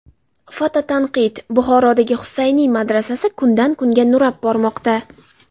Fototanqid: Buxorodagi Husayni madrasasi kundan kunga nurab bormoqda.